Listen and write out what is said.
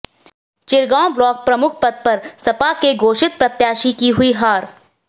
Chirgaon block प्रमुख पद पर सपा के घोषित प्रत्याशी की हुई हार